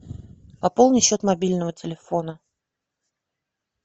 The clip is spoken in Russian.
пополни счет мобильного телефона